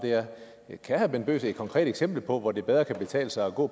er kan herre bent bøgsted give et konkret eksempel på hvor det bedre kan betale sig at gå